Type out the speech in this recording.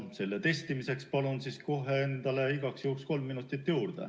Selle testimiseks palun kohe endale igaks juhuks kolm minutit juurde.